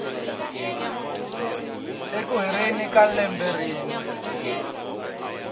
eku heleni ka lembe rin